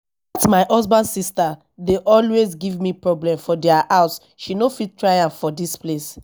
dat my husband sister always dey give me problem for dia house she no fit try am for dis place